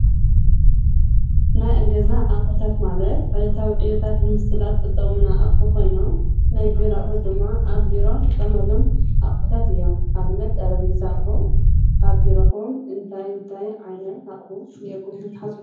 ናይ ኣገዛ ኣቝሑታት ማለት ዕለታዊ ዕዩታት ልምስላት ዝጠቕሙና ኣቕሑ ኾይኖም ናይ ቢሮ ኣቑሑት ድማ ኣብ ቢሮን እንጥቀመሎም ኣቝሑታት እዮም፡፡ ኣብነት ጠረቤዛ ኣቕሑ ኣብ ቢሮኹም እንታይ እንታይ ዓይነታት ኣቕሑታት ኢኒኤኩም ኢልኩም ትሓስቡ?